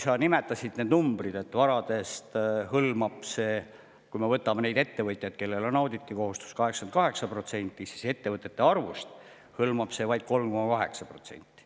Sa nimetasid need numbrid, et kui me võtame need ettevõtjad, kellel on auditikohustus, varasid hõlmab see 88%, aga ettevõtete arvust hõlmab see vaid 3,8%.